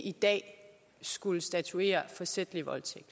i dag skulle statuere forsætlig voldtægt